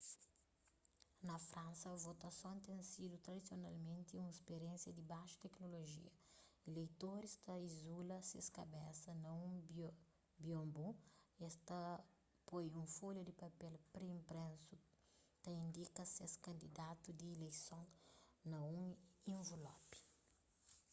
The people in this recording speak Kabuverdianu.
na fransa votason ten sidu tradisionalmenti un spiriénsia di baxu teknolojia ileitoris ta izula ses kabesa na un bionbu es ta poi un folha di papel pré-inpresu ta indika ses kandidatu di ileison na un invelopi